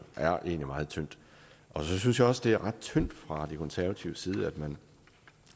er egentlig meget tyndt så synes jeg også det er ret tyndt fra de konservatives side at man